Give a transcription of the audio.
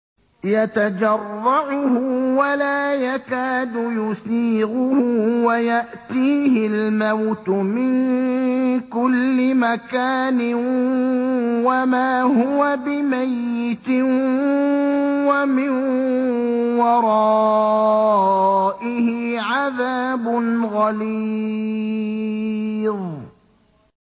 يَتَجَرَّعُهُ وَلَا يَكَادُ يُسِيغُهُ وَيَأْتِيهِ الْمَوْتُ مِن كُلِّ مَكَانٍ وَمَا هُوَ بِمَيِّتٍ ۖ وَمِن وَرَائِهِ عَذَابٌ غَلِيظٌ